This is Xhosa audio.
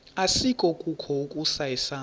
asikukho ukusa isandla